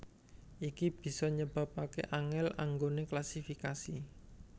Iki bisa nyebabaké angèl anggoné klasifikasi